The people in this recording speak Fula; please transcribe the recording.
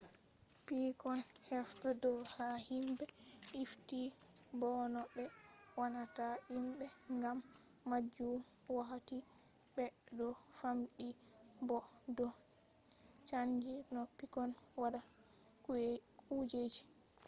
pikkon do hefta do ha himbe ifti bo no be wannata himbe gam majum wakkati be do famdi bo do chanji no pikkon watta kujeji